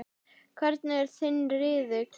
Hvernig er þinn riðill?